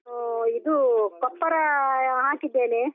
ಇದು ಕೊಪ್ಪರ ಹಾಕಿದ್ದೇನೆ.